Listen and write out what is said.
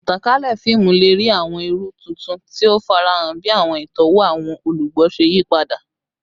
Itankalẹ fiimu le rii awọn iru tuntun ti o farahan bi awọn itọwo awọn olugbo ṣe yipada